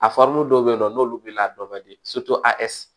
A fari dɔw bɛ yen nɔ n'olu wulila a dɔ di asɔ